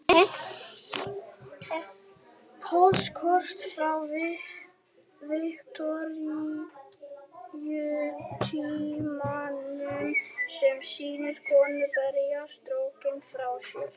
Póstkort frá Viktoríutímanum sem sýnir konu berja storkinn frá sér.